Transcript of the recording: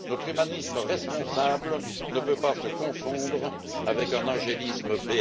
Notre humanisme responsable ne peut pas se confondre avec un angélisme béat.